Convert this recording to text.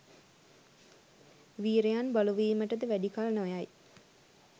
වීරයන් බලුවීමටද වැඩි කල් නොයයි.